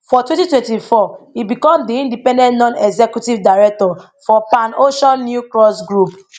for twenty twenty four e become di independent non executive director for pan ocean newcross group